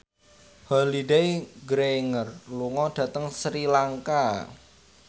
Holliday Grainger lunga dhateng Sri Lanka